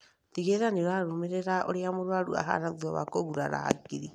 Tigĩrĩra nĩũrarũmĩrĩra ũrĩa mũrwaru ahana thutha wa kũgurara hakiri